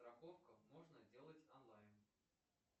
страховка можно делать онлайн